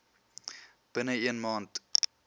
binne een maand